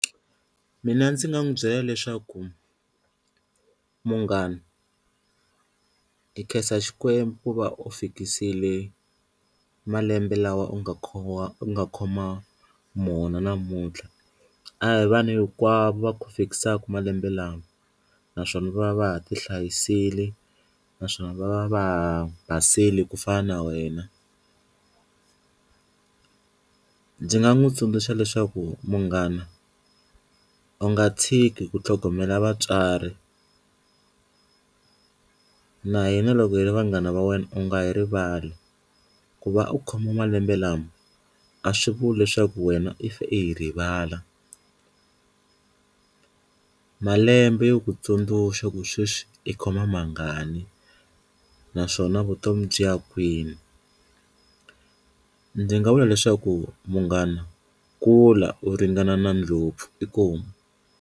Mina ndzi nga n'wi byela leswaku munghana hi khensa xikwembu va u fikisile malembe lawa u nga khowa u nga khoma mona namuntlha, a hi vanhu hinkwavo va ku fikisaka malembe lama naswona va va ti hlayisile naswona va va va basile ku fana na wena, ndzi nga n'wi tsundzuxa leswaku munghana u nga tshiki ku tlhogomela vatswari na hina loko hi ri vanghana va wena u nga yi rivali ku va u khoma malembe lama a swi vuli leswaku wena i fe i hi rivala, malembe yo ku tsundzuxa ku sweswi i khoma mangani naswona vutomi byi ya kwini ndzi nga vula leswaku munghana kula u ringana na ndlopfu inkomu.